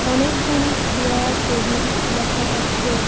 অনেকগুলি chair table দেখা যাচ্ছে।